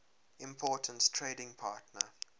important trading partner